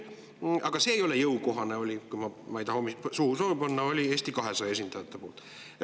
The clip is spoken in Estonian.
Aga see ei ole jõukohane, oli – ma ei taha sõnu suhu panna – Eesti 200 esindajate poolt.